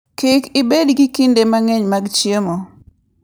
Kik ibed gi kinde mang'eny mag chiemo.